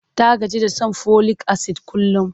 Ta gaji da shan folik-asid kullum.